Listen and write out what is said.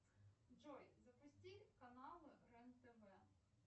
джой запусти каналы рен тв